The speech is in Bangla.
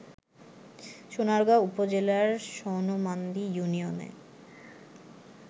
সোনারগাঁও উপজেলার সনমান্দি ইউনিয়নে